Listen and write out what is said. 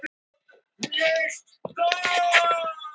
Ég fékk fjallgönguskó.